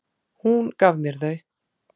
Hún gaf mér þau.